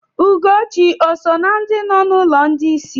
Ugochi òsò na ndị nọ n'ụlọ ndị isi?